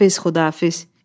Xudafiz, xudafiz.